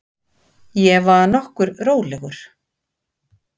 Ég var nokkuð rólegur.